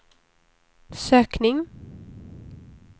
sökning